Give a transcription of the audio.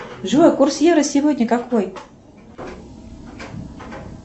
джой курс евро сегодня какой